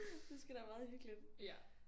Det sgu da meget hyggeligt